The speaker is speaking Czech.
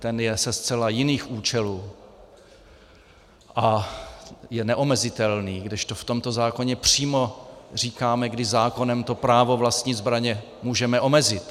Ten je ze zcela jiných účelů a je neomezitelný, kdežto v tomto zákoně přímo říkáme, kdy zákonem to právo vlastnit zbraně můžeme omezit.